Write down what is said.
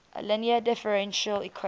linear differential equation